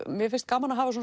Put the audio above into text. mér finnst gaman að hafa